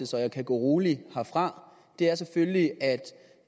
så jeg kan gå rolig herfra er selvfølgelig